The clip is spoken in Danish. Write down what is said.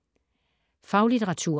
Faglitteratur